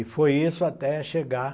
E foi isso até chegar